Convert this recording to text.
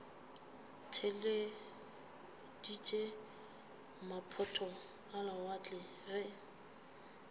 theeleditše maphoto a lewatle ge